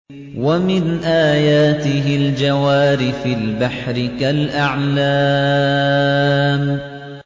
وَمِنْ آيَاتِهِ الْجَوَارِ فِي الْبَحْرِ كَالْأَعْلَامِ